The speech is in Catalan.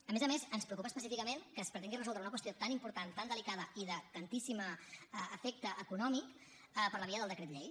a més a més ens preocupa específicament que es pretengui resoldre una qüestió tan important tan delicada i de tantíssim efecte econòmic per la via del decret llei